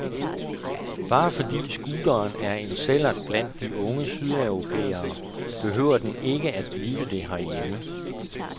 Bare fordi scooteren er en sællert blandt de unge sydeuropæere, behøver den ikke blive det herhjemme.